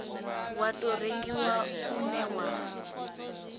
wa tou rengiwa une wa